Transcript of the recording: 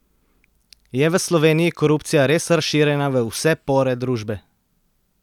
Je v Sloveniji korupcija res razširjena v vse pore družbe?